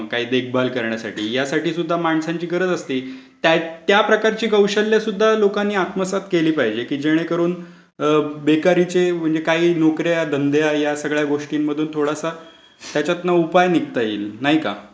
किंवा मग देखभाल करण्यासाठी यासाठी सुद्धा माणसांची गरज असते. त्या प्रकारची कौशल्य सुद्धा लोकांनी आत्मसात केली पाहिजेत.की जेणेकरून बेकारीचे, नोकर् या, धंदे या सगळ्या गोष्टींमधून थोडासा त्याच्यातून उपाय निघता येईल. नाही का?